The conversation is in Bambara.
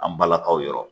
An balakaw yɔrɔ